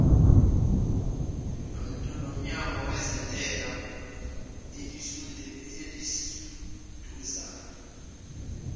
lomnyango wezentela eliseduzane